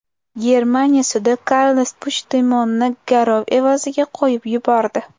Germaniya sudi Karles Puchdemonni garov evaziga qo‘yib yubordi.